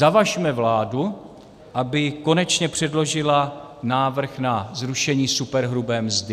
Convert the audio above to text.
Zavažme vládu, aby konečně předložila návrh na zrušení superhrubé mzdy.